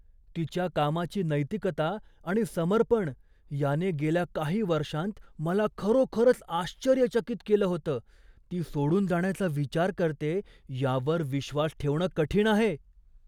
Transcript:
तिच्या कामाची नैतिकता आणि समर्पण याने गेल्या काही वर्षांत मला खरोखरच आश्चर्यचकित केलं होतं, ती सोडून जाण्याचा विचार करतेय यावर विश्वास ठेवणं कठीण आहे.